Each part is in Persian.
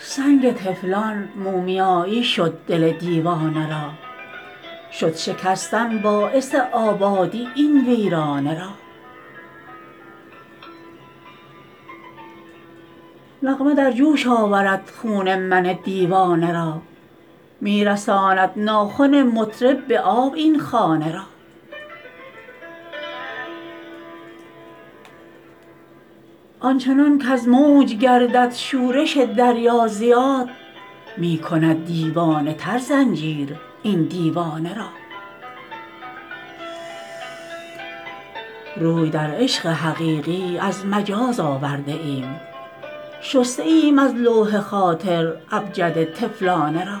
سنگ طفلان مومیایی شد دل دیوانه را شد شکستن باعث آبادی این ویرانه را نغمه در جوش آورد خون من دیوانه را می رساند ناخن مطرب به آب این خانه را آنچنان کز موج گردد شورش دریا زیاد می کند دیوانه تر زنجیر این دیوانه را روی در عشق حقیقی از مجاز آورده ایم شسته ایم از لوح خاطر ابجد طفلانه را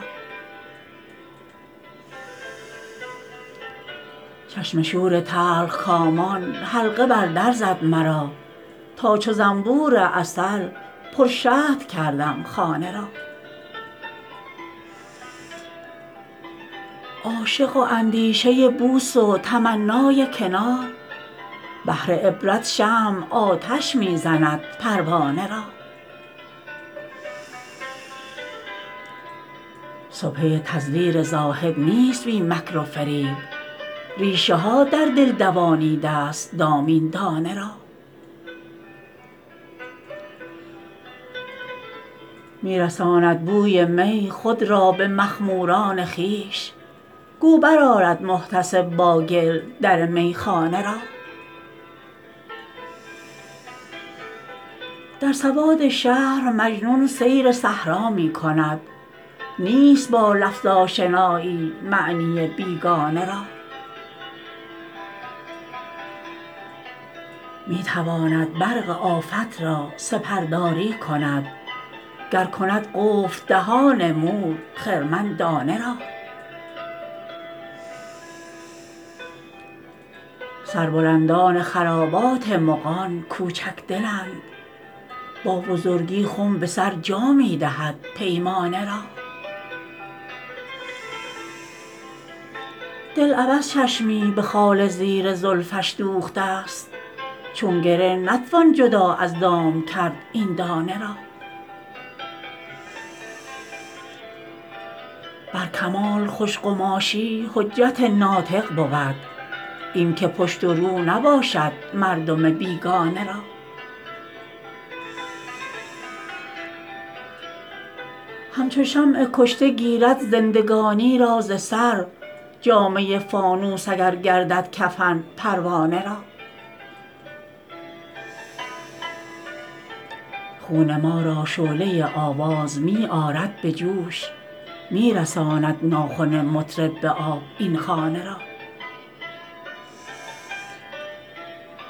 چشم شور تلخکامان حلقه بر در زد مرا تا چو زنبور عسل پر شهد کردم خانه را عاشق و اندیشه بوس و تمنای کنار بهر عبرت شمع آتش می زند پروانه را سبحه تزویر زاهد نیست بی مکر و فریب ریشه ها در دل دوانیده است دام این دانه را می رساند بوی می خود را به مخموران خویش گو برآرد محتسب با گل در میخانه را در سواد شهر مجنون سیر صحرا می کند نیست با لفظ آشنایی معنی بیگانه را می تواند برق آفت را سپرداری کند گر کند قفل دهان مور خرمن دانه را سربلندان خرابات مغان کوچک دلند با بزرگی خم به سر جا می دهد پیمانه را دل عبث چشمی به خال زیر زلفش دوخته است چون گره نتوان جدا از دام کرد این دانه را بر کمال خوش قماشی حجت ناطق بود این که پشت و رو نباشد مردم بیگانه را همچو شمع کشته گیرد زندگانی را ز سر جامه فانوس اگر گردد کفن پروانه را خون ما را شعله آواز می آرد به جوش می رساند ناخن مطرب به آب این خانه را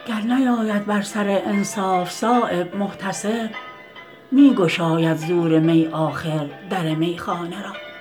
گر نیاید بر سر انصاف صایب محتسب می گشاید زور می آخر در میخانه را